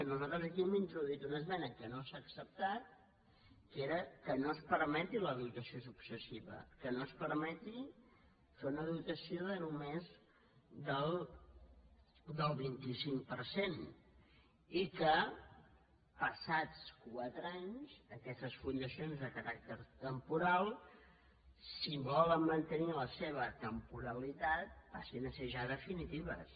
nosaltres aquí hem introduït una esmena que no s’ha acceptat que era que no es permeti la do·tació successiva que no es permeti fer una dotació només del vint cinc per cent i que passats quatre anys aquestes fundacions de caràcter temporal si volen mantenir la seva temporalitat passin a ser ja definitives